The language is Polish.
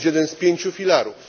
To jest jeden z pięciu filarów.